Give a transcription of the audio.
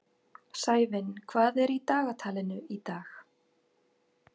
Sævin, hvað er í dagatalinu í dag?